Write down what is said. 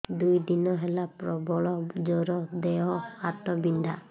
ଦୁଇ ଦିନ ହେଲା ପ୍ରବଳ ଜର ଦେହ ହାତ ବିନ୍ଧା